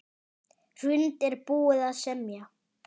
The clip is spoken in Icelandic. Hrund: Er búið að semja?